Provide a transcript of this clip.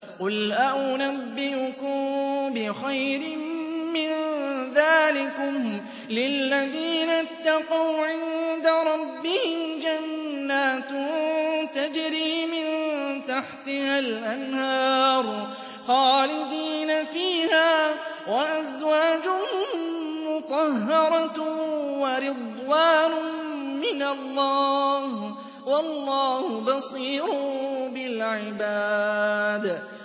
۞ قُلْ أَؤُنَبِّئُكُم بِخَيْرٍ مِّن ذَٰلِكُمْ ۚ لِلَّذِينَ اتَّقَوْا عِندَ رَبِّهِمْ جَنَّاتٌ تَجْرِي مِن تَحْتِهَا الْأَنْهَارُ خَالِدِينَ فِيهَا وَأَزْوَاجٌ مُّطَهَّرَةٌ وَرِضْوَانٌ مِّنَ اللَّهِ ۗ وَاللَّهُ بَصِيرٌ بِالْعِبَادِ